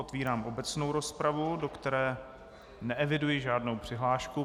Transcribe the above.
Otvírám obecnou rozpravu, do které neeviduji žádnou přihlášku.